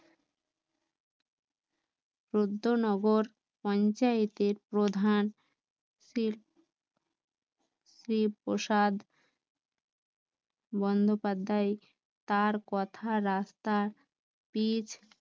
প্রদ্য নগর পঞ্চায়েতের প্রধান শ্রী প্রসাদ বন্দপাধ্যায় তার কথা, রাস্তা পিচ